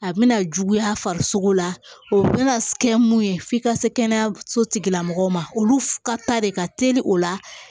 A bɛna juguya farisogo la o bɛna kɛ mun ye f'i ka se kɛnɛyaso tigila mɔgɔw ma olu ka ta de ka teli o la